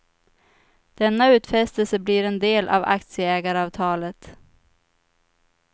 Denna utfästelse blir en del av aktieägaravtalet.